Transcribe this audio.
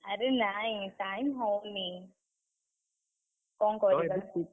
ଆରେ ନାଇଁ time ହଉନି। କଣ କରିବା